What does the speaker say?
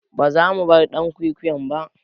Ba zamu bar "yan kwikwiyon ba